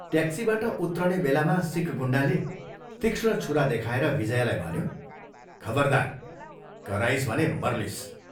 ट्याक्सीबाट उत्रने बेलामा सिख गुण्डाले तीक्ष्ण छुरा देखाएर विजयालाई भन्यो, "खबरदार, कराइस् भने मर्लिस्।